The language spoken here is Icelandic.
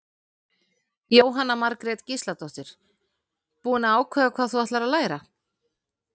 Jóhanna Margrét Gísladóttir: Búin að ákveða hvað þú ætlar að læra?